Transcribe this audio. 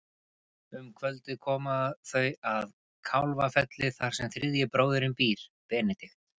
Um kvöldið koma þau að Kálfafelli þar sem þriðji bróðirinn býr, Benedikt.